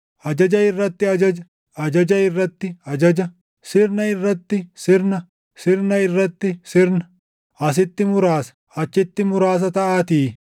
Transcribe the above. Ajaja irratti ajaja; ajaja irratti ajaja; sirna irratti sirna; sirna irratti sirna; asitti muraasa; achitti muraasa” taʼaatii.